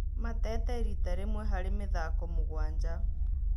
mateete riita rĩmwe harĩ mĩthako mũgwanja.